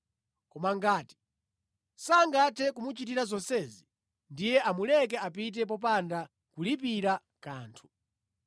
Koma ngati sangathe kumuchitira zonsezi, ndiye amuleke apite popanda kulipira kanthu.